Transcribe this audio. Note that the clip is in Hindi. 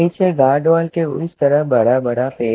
पीछे गार्डवाल के उस तरह बड़ा बड़ा पेड़--